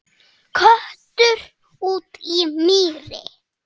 Köttur úti í mýri